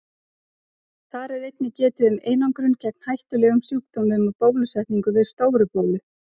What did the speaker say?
Þar er einnig getið um einangrun gegn hættulegum sjúkdómum og bólusetningu við Stóru-bólu.